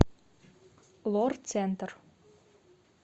лор центр